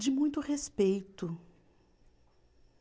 De muito respeito.